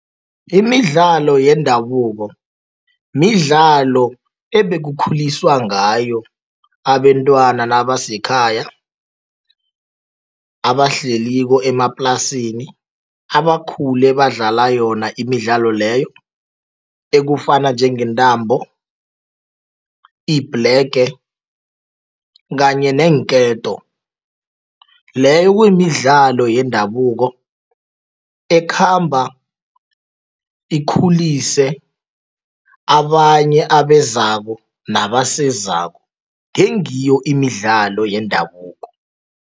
Imidlalo yendabuko midlalo ebekukhuliswa ngayo abentwana nabasekhaya, abahleliko emaplasini, abakhule badlala yona imidlalo leyo, ekufana njengentambo, ibhlege kanye neenketo. Leyo kuyimidlalo yendabuko ekhamba ikhulise abanye abezako nabasezako, ngengiyo imidlalo yendabuko.